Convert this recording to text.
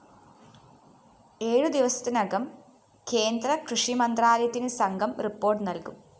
ഏഴുദിവസത്തിനകം കേന്ദ്ര കൃഷിമന്ത്രാലയത്തിനു സംഘം റിപ്പോര്‍ട്ടു നല്‍കും